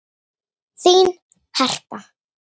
Þín Harpa.